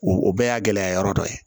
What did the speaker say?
O bɛɛ y'a gɛlɛya yɔrɔ dɔ ye